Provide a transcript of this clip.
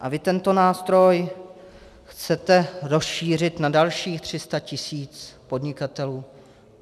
A vy tento nástroj chcete rozšířit na dalších 300 tisíc podnikatelů.